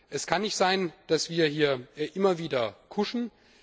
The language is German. Es kann nicht sein, dass wir hier immer wieder kuschen!